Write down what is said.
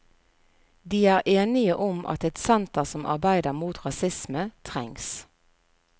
De er enige om at et senter som arbeider mot rasisme trengs.